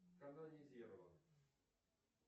канонизирован